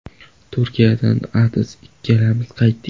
Turkiyadan Adiz ikkalamiz qaytdik.